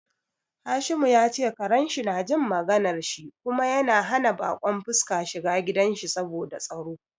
Hashimu ya ce karen shi na jin maganar shi kuma yana hana bakon fuska shiga gidan shi saboda tsaro.